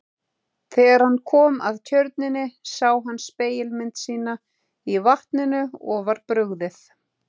Þegar hann kom að tjörninni sá hann spegilmynd sína í vatninu og var brugðið.